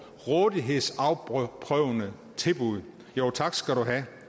rådighedsafprøvende tilbud jo tak skal du have